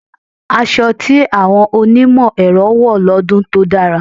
Asọ tí àwọn onímọ̀ ẹ̀rọ wọ̀ lọ́dún tó dára.